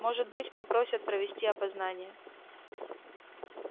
может быть попросят провести опознание